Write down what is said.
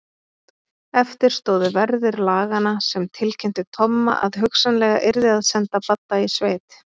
Eftir stóðu verðir laganna sem tilkynntu Tomma að hugsanlega yrði að senda Badda í sveit.